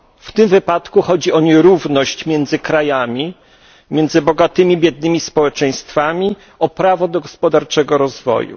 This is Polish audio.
W tym wypadku chodzi o nierówność między krajami, między bogatymi i biednymi społeczeństwami, o prawo do gospodarczego rozwoju.